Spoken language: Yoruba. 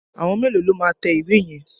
Àwọn mélòó lo máa tẹ ìwé yẹn?